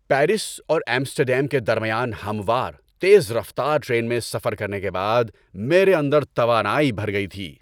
Paris اور Amsterdam کے درمیان ہموار، تیز رفتار ٹرین میں سفر کرنے کے بعد میرے اندر توانائی بھر گئی تھی۔